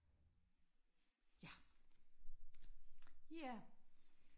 ja ja